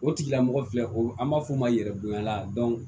O tigilamɔgɔ filɛ o an b'a fɔ o ma yɛrɛ bonya la